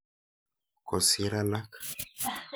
Kosir alak.